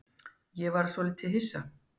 Ég varð svolítið hissa.